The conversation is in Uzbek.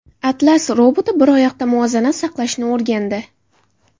Atlas roboti bir oyoqda muvozanat saqlashni o‘rgandi.